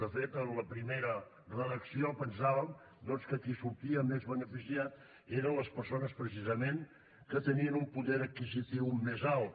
de fet en la primera redacció pensàvem que qui en sortia més beneficiat eren les persones precisament que tenien un poder adquisitiu més alt